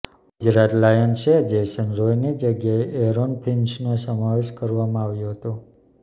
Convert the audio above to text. ગુજરાત લાયન્સએ જેસન રોયની જગ્યાએ એરોન ફિન્ચનો સમાવેશ કરવામાં આવ્યો હતો